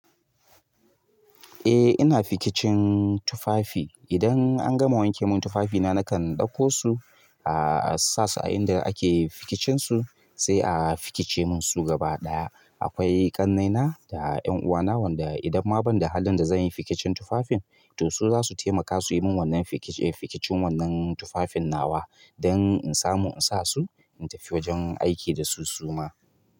Eh ina fikicin tufafi. Idan an gama wanke man tufafina, nakan ɗaukosu, ah sasu a inda ake fikicinsu sai a fikicemun su gaba ɗaya. Akwai ƙannaina da 'ƴan uwana wanda idan ma ban da halin da zan yi fikicin tufafin to su za su taimaka su yi mun wannan fikicin wannan tufafin nawa dan in samu in sa su in tafi wajen aiki da su suma.